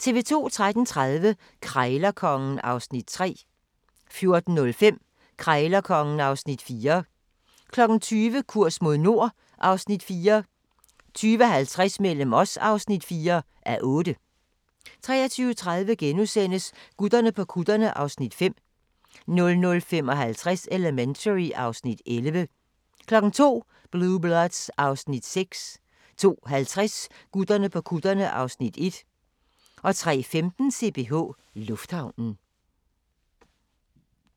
13:30: Krejlerkongen (Afs. 3) 14:05: Krejlerkongen (Afs. 4) 20:00: Kurs mod nord (Afs. 4) 20:50: Mellem os (4:8) 23:30: Gutterne på kutterne (Afs. 5)* 00:55: Elementary (Afs. 11) 02:00: Blue Bloods (Afs. 6) 02:50: Gutterne på kutterne (Afs. 1) 03:15: CPH Lufthavnen